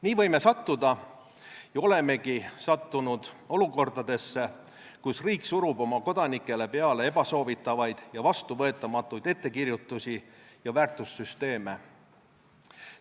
Nii võime sattuda ja olemegi sattunud olukordadesse, kus riik surub oma kodanikele peale ebasoovitavaid ja vastuvõetamatuid ettekirjutusi ja väärtussüsteeme.